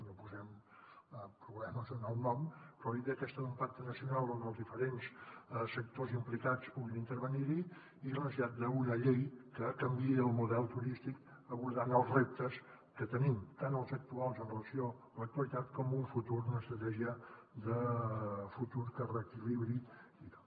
no posarem problemes en el nom però la idea aquesta d’un pacte nacional on els diferents sectors implicats puguin intervenir hi i la necessitat d’una llei que canviï el model turístic abordant els reptes que tenim tant els actuals amb relació a l’actualitat com en un futur una estratègia de futur que reequilibri i tal